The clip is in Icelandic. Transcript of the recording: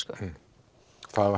það